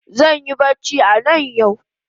Zanyi bacci anan yau